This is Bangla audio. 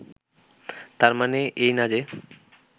তার মানে এই না যে